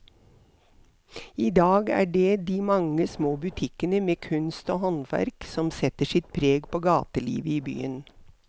I dag er det de mange små butikkene med kunst og håndverk som setter sitt preg på gatelivet i byen.